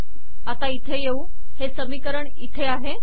आता इथे येऊ हे समीकरण इथे आहे